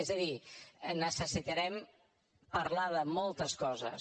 és a dir necessitarem parlar de moltes coses